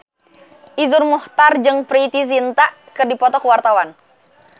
Iszur Muchtar jeung Preity Zinta keur dipoto ku wartawan